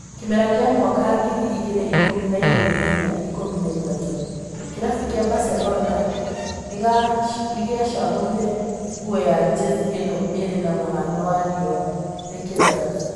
Kĩmera kĩa mwaka ngiri igĩrĩ ikũmi na igĩrĩ nginya ikũmi na ithatũ, kĩrabu kĩa Barcelona nĩgacagũrire nguo ya jezi ĩno ĩrĩ na mũhano wa rĩũa rĩkĩratha